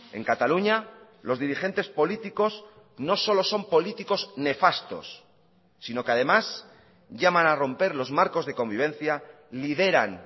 en cataluña los dirigentes políticos no solo son políticos nefastos sino que además llaman a romper los marcos de convivencia lideran